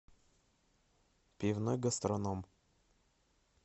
пивной гастроном